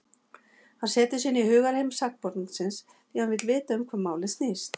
Hann setur sig inn í hugarheim sakborningsins, því hann vill vita um hvað málið snýst.